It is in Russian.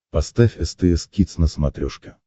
поставь стс кидс на смотрешке